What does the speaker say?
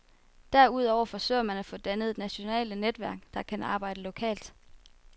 Derudover forsøger man at få dannet nationale netværk, der kan arbejde lokalt.